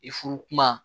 I furu kuma